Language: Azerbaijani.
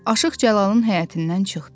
Aşıq Cəlalın həyətindən çıxdı.